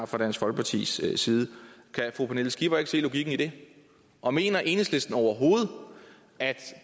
fra dansk folkepartis side kan fru pernille skipper ikke se logikken i det og mener enhedslisten overhovedet at